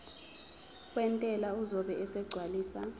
wentela uzobe esegcwalisa